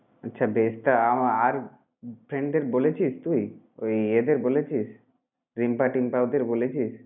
আচ্ছা বেশ! তা আমা~ আর ফ্রেন্ডদের বলেছিস তুই? ওই এদের বলেছিস রিম্পা, টিম্পা ওদের বলেছিস?